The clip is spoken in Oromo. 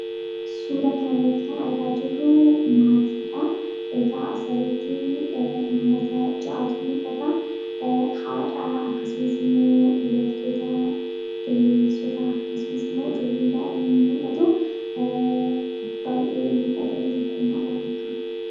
Suuraa kanarratti kan argaa jirru maatiidha. Egaa asirratti namoota ja'atu mul'ata. Haadha akkasumas, immoo dubartoota ge'eessota, akkasumas immoo daa'imni in mul'atu. Baay'ee miidhagani tokkummaadhan akkasitti...